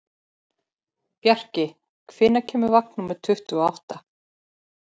Bjarki, hvenær kemur vagn númer tuttugu og átta?